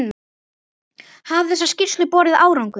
Hafa þessar skýrslur borið árangur?